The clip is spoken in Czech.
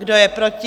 Kdo je proti?